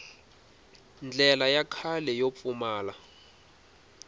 ndlela ya kahle yo pfumala